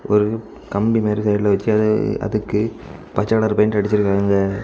ஒரு கம்பி மாறி சைடுல வெச்சு அது அதுக்கு பச்ச கலர் பெயிண்ட் அடிச்சிருக்காங்க.